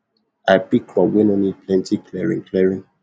i pick crop wey nor need plenty clearing clearing